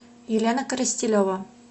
елена коростелева